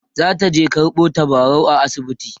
zataje karɓo tabarau a asibiti